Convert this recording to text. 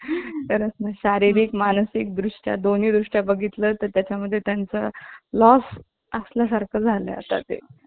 माझी guarantee नाही. आणि रस्त्यात कधी कधी एखाद्याला मारायचे पण.